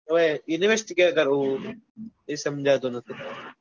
હવે એ invest ક્યા કરવું એ સમજાતું નથી